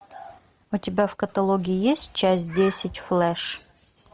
у тебя в каталоге есть часть десять флэш